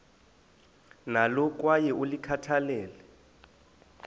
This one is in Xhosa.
nalo kwaye ulikhathalele